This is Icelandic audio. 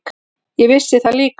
Ég vissi það líka.